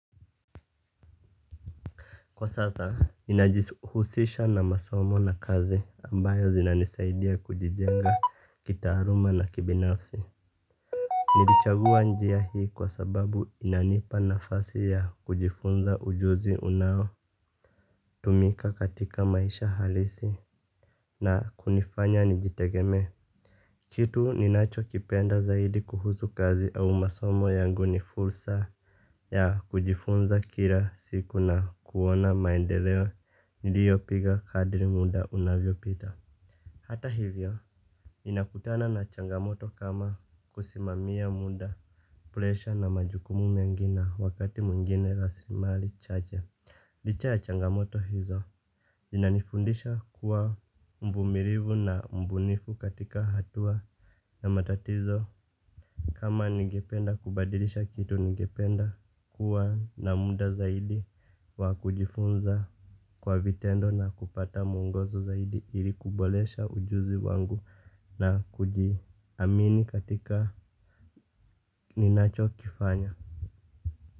Kwa sasa, ninajihusisha na masomo na kazi ambayo zinanisaidia kujijenga kitaaruma na kibinafsi. Nilichagua njia hii kwa sababu inanipa nafasi ya kujifunza ujuzi unao tumika katika maisha halisi na kunifanya nijitegemee kitu ninachokipenda zaidi kuhusu kazi au masomo yangu ni fursa ya kujifunza kila siku na kuona maendeleo niliyopiga kadri muda unavyopita. Hata hivyo ninakutana na changamoto kama kusimamia muda. Presha na majukumu mengi na wakati mwingine rasilimali chache. Licha ya changamoto hizo inanifundisha kuwa mvumirivu na mbunifu katika hatua. Na matatizo kama ningependa kubadilisha kitu ningependa kuwa na muda zaidi wa kujifunza kwa vitendo na kupata mwongozo zaidi ili kuboresha ujuzi wangu na kujiamini katika ninachokifanya.